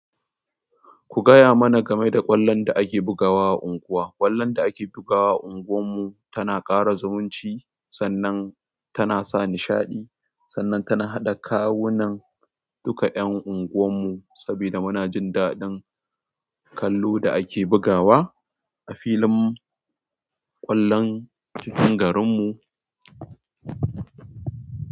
Ku gaya mana game da ƙwallon da ake bugawa unguwa. Ƙwallon da ake bugawa a unguwar mu tana ƙara zumunci sannan tana sa nishaɗi, sannan tana haɗa kawunan duka ƴan unguwar mu saboda muna jin daɗin kallo da ake bugawa a filin ƙwallon cikin garin mu.